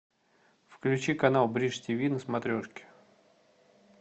включи канал бридж тв на смотрешке